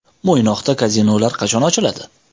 Mo‘ynoqda kazinolar qachon ochiladi?